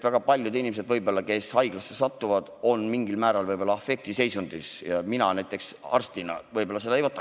Väga paljud inimesed, kes haiglasse satuvad, on võib-olla mingil määral afektiseisundis ja näiteks mina arstina nende soovi võib-olla sõna-sõnalt ei võtaks.